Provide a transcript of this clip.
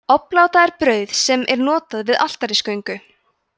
obláta er brauð sem er notað við altarisgöngu